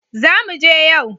Zamu je yau